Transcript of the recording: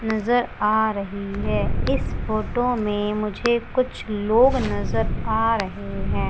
नजर आ रही है। इस फोटो में मुझे कुछ लोग नजर आ रहे हैं।